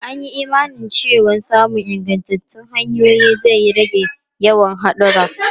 An yi imanin cewa samun ingantattun hanyoyi zai rage yawan hadura.